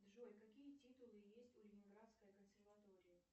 джой какие титулы есть у ленинградской консерватории